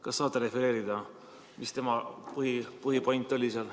Kas tea saate refereerida, mis tema jutu põhipoint oli?